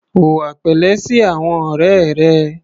Hùwà pẹ̀lẹ́ sí àwọn ọ̀rẹ́ rẹ.